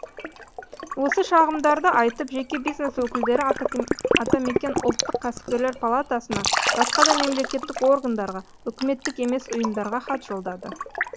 осы шағымдарды айтып жеке бизнес өкілдері атамекен ұлттық кәсіпкерлер палатасына басқа да мемлекеттік органдарға үкіметтік емес ұйымдарға хат жолдады